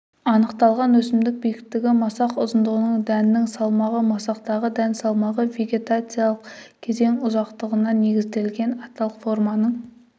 анықталған өсімдік биіктігі масақ ұзындығы дәннің салмағы масақтағы дән салмағы вегетациялық кезең ұзақтығына негізінен аталық форманың